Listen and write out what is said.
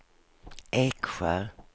Eksjö